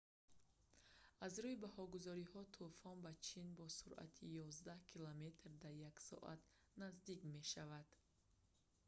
аз рӯи баҳогузориҳо тӯфон ба чин бо суръати ёздаҳ километр дар як соат наздик мешавад